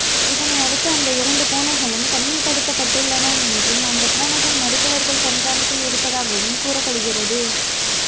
இதனை அடுத்து அந்த இரண்டு பூனைகளும் தனிமைப்படுத்தப்பட்டுள்ளன என்றும் அந்த பூனைகள் மருத்துவர்கள் கண்காணிப்பில் இருப்பதாகவும் கூறப்படுகிறது